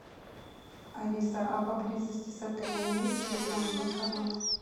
алиса а поблизости с отелем есть сбербанк банкомат